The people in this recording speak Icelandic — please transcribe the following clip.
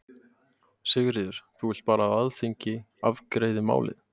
Sigríður: Þú vilt bara að Alþingi afgreiði málið?